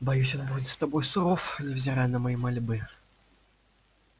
боюсь он будет с тобой суров невзирая на мои мольбы